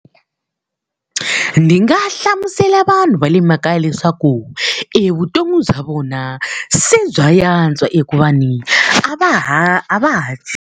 Ni nga hlamusela vanhu va le makaya leswaku, e vutomi bya vona se bya antswa hikuva ni a va ha a va ha .